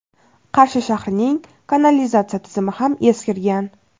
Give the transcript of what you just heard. Qarshi shahrining kanalizatsiya tizimi ham eskirgan.